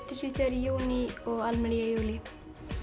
til Svíþjóðar í júní og Almer í júlí